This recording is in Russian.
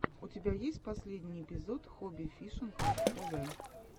у тебя есть последний эпизод хобби фишинг тв